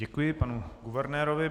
Děkuji panu guvernérovi.